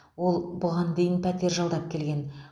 ол бұған дейін пәтер жалдап келген